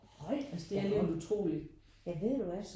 Hold da op. Ja ved du hvad